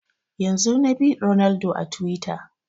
Yanzun na bi Ronaldo a twitter